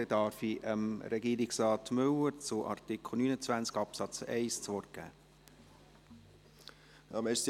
Dann gebe ich Regierungsrat Müller zu Artikel 29 Absatz 1 das Wort.